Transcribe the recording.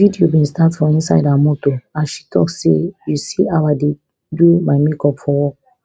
di video bin start for inside her motor as she tok say you see how i dey do my make up for work